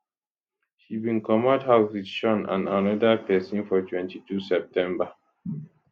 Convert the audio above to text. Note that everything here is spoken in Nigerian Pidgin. she bin comot house wit shaun and anoda pesin for 22 september